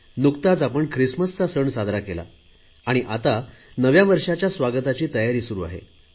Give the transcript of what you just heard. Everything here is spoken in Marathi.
नुकताच आपण ख्रिसमसचा सण साजरा केला आणि आता नव्या वर्षाच्या स्वागताची तयारी सुरु केली आहे